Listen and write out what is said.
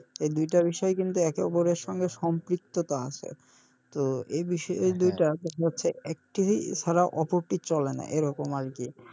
এই দুইটা বিষয় কিন্তু একে অপরের সঙ্গে সম্পৃক্ততা আছে, তো এই বিষয়ে দুইটা দেখা যাচ্ছে চলে না এরকম আরকি।